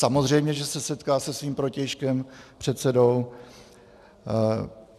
Samozřejmě že se setká se svým protějškem předsedou.